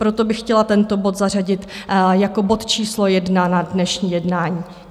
Proto bych chtěla tento bod zařadit jako bod číslo 1 na dnešní jednání.